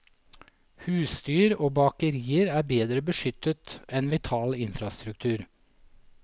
Husdyr og bakerier er bedre beskyttet enn vital infrastruktur.